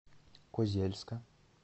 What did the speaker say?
козельска